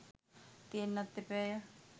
තියෙන්නත් එපායැ.